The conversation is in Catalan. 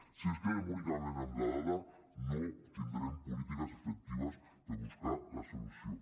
si ens quedem únicament amb la dada no tindrem polítiques efectives per buscar la solució